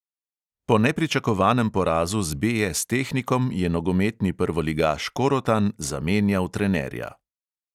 Po nepričakovanem porazu z BS tehnikom je nogometni prvoligaš korotan zamenjal trenerja.